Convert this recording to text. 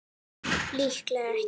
Líklega ekki.